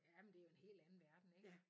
Ja men det jo en helt anden verden ik